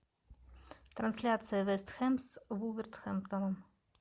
трансляция вест хэм с вулверхэмптоном